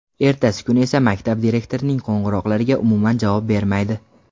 Ertasi kuni esa maktab direktorining qo‘ng‘iroqlariga umuman javob bermaydi.